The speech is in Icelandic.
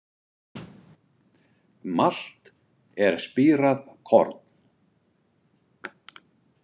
Malt er spírað korn.